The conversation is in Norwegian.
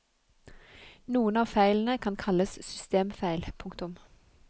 Noen av feilene kan kalles systemfeil. punktum